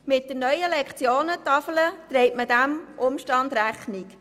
Mit der neuen Lektionentafel trägt man diesem Wunsch Rechnung.